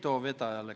Kõnesoove ei ole.